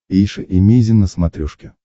эйша эмейзин на смотрешке